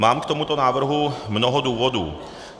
Mám k tomuto návrhu mnoho důvodů.